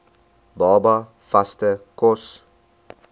baba vaste kos